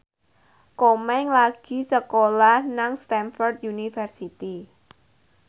Komeng lagi sekolah nang Stamford University